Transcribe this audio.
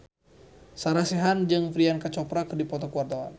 Sarah Sechan jeung Priyanka Chopra keur dipoto ku wartawan